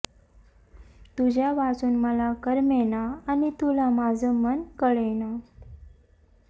तुझ्या वाचून मला करमेना आणि तुला माझं मन कळेना